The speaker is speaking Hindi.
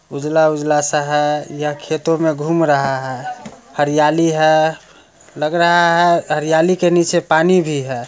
उजला-उजला सा है यह खेतों में घूम रहा है हरियाली है लग रहा है हरियाली के नीचे पानी भी है।